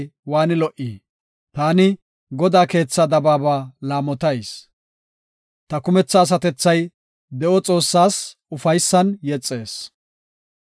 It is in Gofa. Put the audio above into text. Taani Godaa keetha dabaaba laamotayis; ta kumetha asatethay de7o Xoossaas ufaysan yexees.